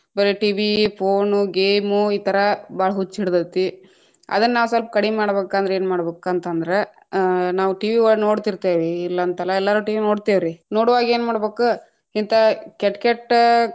ಬರೇ TV , phone, game ಈ ಥರಾ ಭಾಳ ಹುಚ್ಚ್ ಹಿಡದೇತಿ, ಅದನ್ನಾವ ಸ್ವಲ್ಪ ಕಡಿಮ್ಮಾಡೇಕಂದ್ರ ಏನ್‌ ಮಾಡ್ಬಕಂತ ಅಂದ್ರ ಅ ನಾವ್‌ TV ನೋಡ್ತಿತೇ೯ವಿರೀ ಇಲ್ಲಂತಲ್ಲಾ ಎಲ್ಲಾರು TV ನೋಡ್ತೇವ್ರಿ, ನೋಡುವಾಗ ಏನ್‌ ಮಾಡ್ಬೇಕ ಹಿಂಥಾ ಕೆಟ್ಟ ಕೆಟ್ಟ.